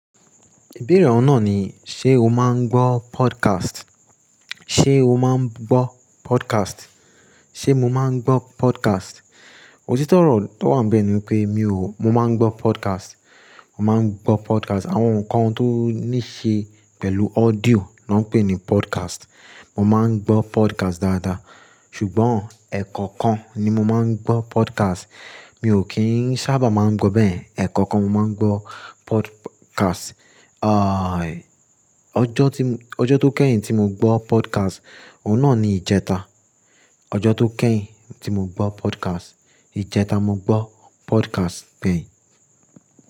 Ìbéèrè ọ̀nà ni, ṣe o máa ń gbọ́ podcast? Ṣe o máa ń gbọ́ podcast? Ṣe mo máa ń gbọ́ podcast? Òtítọ́ ọ̀rọ̀ tó wà níbẹ̀ ni pé mi ò, mo máa ń gbọ́ podcast. Mo máa ń gbọ́ podcast. Àwọn nǹkan tó ní ṣe pẹ̀lú audio ni wọ́n ń pè ní podcast. Mo máa ń gbọ́ podcast dáadáa. Ṣùgbọ́n, e ẹ̀kọ́ kan ni mo máa ń gbọ́ podcast. Mi ò kí ń sábà máa ń gbọ́ bẹ́ẹ̀. Ẹ̀kọ́ kan mo máa ń gbọ́ podcast. Ẹ̀ẹ̀, au ọjọ́ tí, ọjọ́ tó kẹ́yìn tí mo gbọ́ podcast, ọ̀nà ni ìjẹta. Ọjọ́ tó kẹ́yìn tí mo gbọ́ podcast, ìjẹta mo gbọ́ podcast bẹ́ẹ̀.